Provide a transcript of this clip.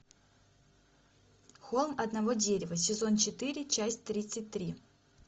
холм одного дерева сезон четыре часть тридцать три